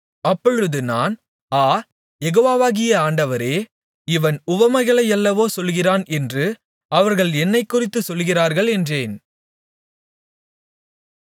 அப்பொழுது நான் ஆ யெகோவாகிய ஆண்டவரே இவன் உவமைகளையல்லவோ சொல்லுகிறான் என்று அவர்கள் என்னைக்குறித்துச் சொல்லுகிறார்கள் என்றேன்